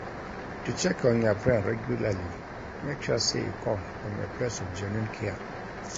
To check on your friend regularly make sure say e come from a place of genuine care